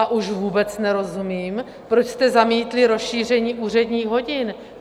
A už vůbec nerozumím, proč jste zamítli rozšíření úředních hodin.